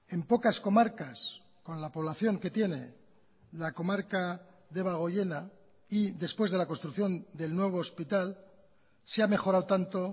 en pocas comarcas con la población que tiene la comarca debagoiena y después de la construcción del nuevo hospital se ha mejorado tanto